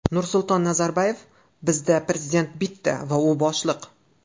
Nursulton Nazarboyev: Bizda prezident bitta va u boshliq.